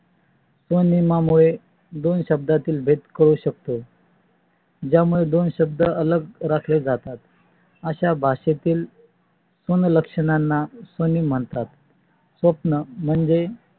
त्या नियमा मुळे दोन शब्दातील भेद कळू शकतो ज्यामुळे दोन शब्द अलग राखले जातात. अशा भाषेतील सून लक्षणांना सुनी म्हणतात. स्वप्ना म्हणजे